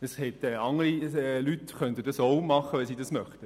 Dies könnten andere Leute selbstverständlich auch tun, wenn sie es wollten.